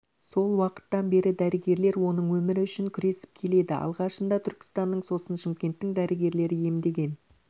сол уақыттан бері дәрігерлер оның өмірі үшін күресіп келеді алғашында түркістанның сосын шымкенттің дәрігерлері емдеген